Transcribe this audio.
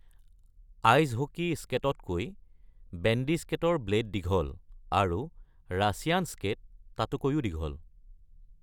Ice hockey স্কেটতকৈ bandy স্কেটৰ blade দীঘল, আৰু "ৰাছিয়ান স্কেট" তাতকৈও দীঘল।